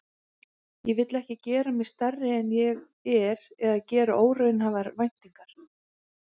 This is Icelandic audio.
Ég vil ekki gera mig stærri en ég er eða gera óraunhæfar væntingar.